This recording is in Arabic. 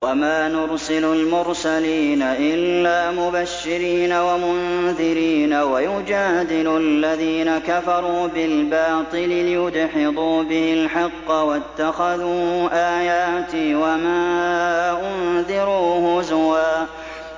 وَمَا نُرْسِلُ الْمُرْسَلِينَ إِلَّا مُبَشِّرِينَ وَمُنذِرِينَ ۚ وَيُجَادِلُ الَّذِينَ كَفَرُوا بِالْبَاطِلِ لِيُدْحِضُوا بِهِ الْحَقَّ ۖ وَاتَّخَذُوا آيَاتِي وَمَا أُنذِرُوا هُزُوًا